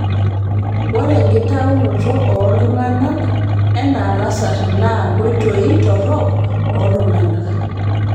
Ore enkitaunoto oo ltung'ana ena lasarri naa nkoitoi torrok oo ltung'ana